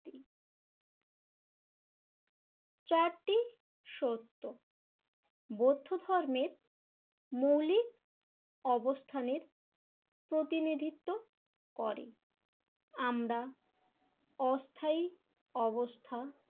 চারটি সত্য বৌদ্ধ ধর্মের মৌলিক অবস্থানের প্রতিনিধিত্ব করে। আমরা অস্থায়ী অবস্থা